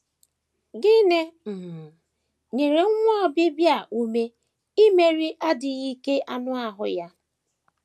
Gịnị um nyere nwa Obibịa a ume imeri adịghị ike anụ ahụ ya?